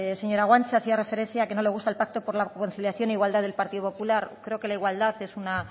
señora guanche hacía referencia a que no le gusta el pacto por la conciliación de igualdad del partido popular creo que la igualdad es una